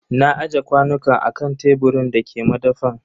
Na aje kwanukan a kan teburin da ke madafan.